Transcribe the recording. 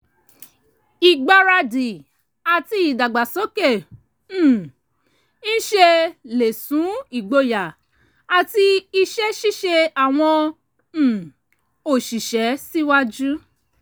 ìgbáradì àti ìdàgbàsókè um iṣẹ́ lè sún ìgboyà àti iṣẹ́ ṣíṣe àwọn um òṣìṣẹ́ síwájú